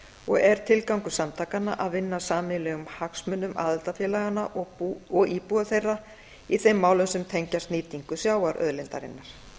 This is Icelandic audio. og er tilgangur samtakanna að vinna að sameiginlegum hagsmunum aðildarfélaganna og íbúa þeirra í þeim málum sem tengjast nýtingu sjávarauðlindarinnar